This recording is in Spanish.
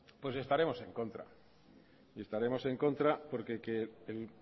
pues estaremos en contra y estaremos en contra porque que el